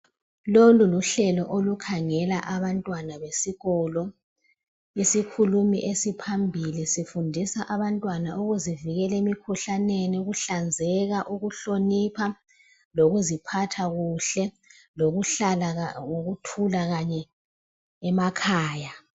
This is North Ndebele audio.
Lolu luhlelo olukhangela abantwana besikolo isokhulimi esiphambili sifundisa abantwana ukuzivikela emkhuhlaneni ukuhlanzeka ukuhlonipha kokuziphatha kuhle lokuhlala ngokuthula kanye emakhaya